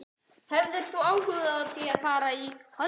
Hefðirðu áhuga á að fara í hollenskt lið?